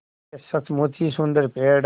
यह सचमुच ही सुन्दर पेड़ है